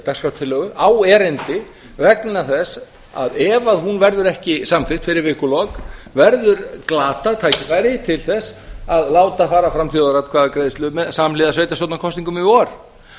dagskrártillögu á erindi vegna þess að ef hún verður ekki samþykkt fyrir vikulok verður glatað tækifæri til að láta fara fram þjóðaratkvæðagreiðslu samhliða sveitarstjórnarkosningum í vor